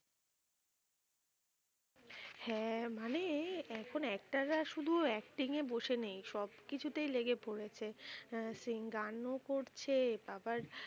হ্যাঁ মানেই এখন actor শুধু acting এ বসে নেই। সবকিছুতেই লেগে পড়েছে আহ সে গানও করছে আবার,